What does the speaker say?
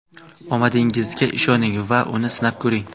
Omadingizga ishoning va uni sinab ko‘ring!